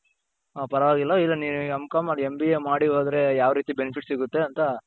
ಹ ಪರವಾಗಿಲ್ಲ ಈಗ ನೀವು M.com MBA ಮಾಡಿ ಹೋದ್ರೆ ಯಾವ್ ರೀತಿ benefit ಸಿಗುತ್ತೆ ಅಂತ